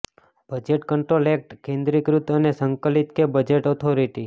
budget control act કેન્દ્રીકૃત અને સંકલિત કે બજેટ ઓથોરિટી